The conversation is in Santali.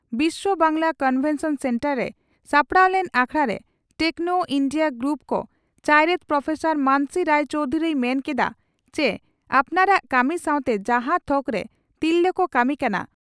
ᱵᱤᱥᱥᱣᱚ ᱵᱟᱝᱜᱽᱞᱟ ᱠᱚᱱᱵᱷᱮᱱᱥᱚᱱ ᱥᱮᱱᱴᱟᱨ ᱨᱮ ᱥᱟᱯᱲᱟᱣ ᱞᱮᱱ ᱟᱠᱷᱲᱟᱨᱮ ᱴᱮᱠᱱᱚ ᱤᱱᱰᱤᱭᱟ ᱜᱨᱩᱯ ᱠᱚᱼᱪᱟᱭᱨᱮᱛ ᱯᱨᱚᱯᱷᱮᱥᱚᱨ ᱢᱟᱱᱚᱥᱤ ᱨᱟᱭ ᱪᱚᱣᱫᱷᱩᱨᱤᱭ ᱢᱮᱱ ᱠᱮᱫᱼᱟ ᱪᱤ ᱟᱯᱱᱟᱨᱟᱜ ᱠᱟᱹᱢᱤ ᱥᱟᱣᱛᱮ ᱡᱟᱦᱟᱸ ᱛᱷᱚᱠᱨᱮ ᱛᱤᱨᱞᱟᱹ ᱠᱚ ᱠᱟᱹᱢᱤ ᱠᱟᱱᱟ